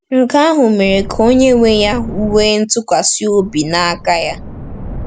Nke ahụ mere ka onye nwe ya nwee ntụkwasị obi n’aka ya.